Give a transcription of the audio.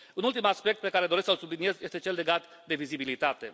Un ultim aspect pe care doresc să îl subliniez este cel legat de vizibilitate.